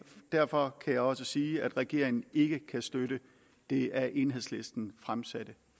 derfor kan jeg også sige at regeringen ikke kan støtte det af enhedslisten fremsatte